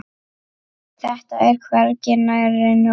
Þetta er hvergi nærri nóg.